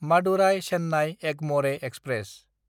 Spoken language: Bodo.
मादुराय–चेन्नाय एगमरे एक्सप्रेस